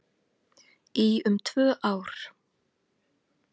Í um tvö ár